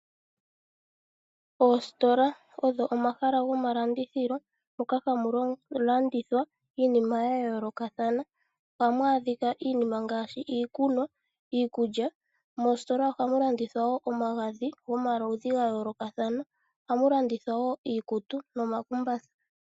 Oositola odho omahala goomalandithilo moka hamu landithwa iinima ya yoolokathana. Ohamu adhika iinima ngaashi iikunwa, iikulya. Moositola ohamu landithwa woo omagadhi gomaludhi ga yoolokathana. Ohamu landithwa woo iikutu nomakumbatha.